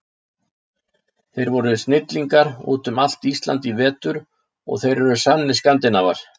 Þeir voru snillingar út um allt Ísland í vetur og þeir eru sannir Skandinavar.